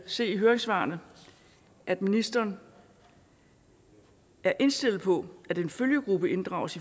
se i høringssvarene at ministeren er indstillet på at en følgegruppe inddrages